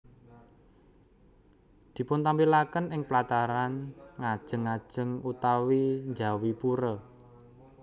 Dipuntampilaken ing plataran ngajeng ngajeng utawi njawi pura